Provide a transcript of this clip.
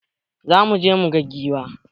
Za muje mu gan giwa.